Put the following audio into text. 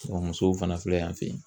musow fana filɛ yan fɛ yen.